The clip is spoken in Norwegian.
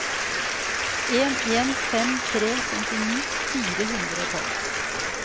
en en fem tre femtini fire hundre og tolv